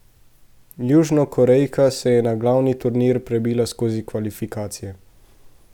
Južnokorejka se je na glavni turnir prebila skozi kvalifikacije.